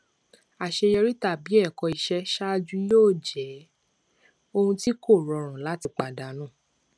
àṣeyọrí tàbí ẹkọ ìṣe ṣáájú yóò jẹ ohun tí kò rọrùn láti pàdánù